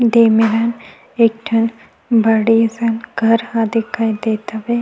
दे मेरन एक ठ बड़े से घर ह दिखाई देत हवे--